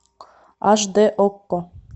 аш дэ окко